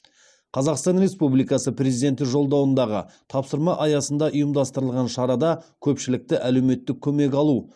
қазақстан республикасы президенті жолдауындағы тапсырма аясында ұйымдастырылған шарада көпшілікті әлеуметтік көмек алу